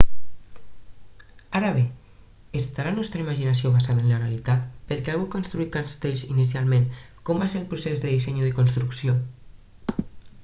ara bé està la nostra imaginació basada en la realitat per què algú va construir castells inicialment com va ser el procés de disseny i de construcció